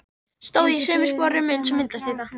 Stóð í sömu sporum eins og myndastytta.